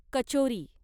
kachori